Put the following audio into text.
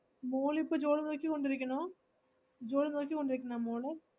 മോൾ ഇപ്പോ job നോക്കി കൊണ്ടിരിക്കുണോ. ജോലി നോക്കികൊണ്ട് ഇരിക്കുന്നോ മോള്.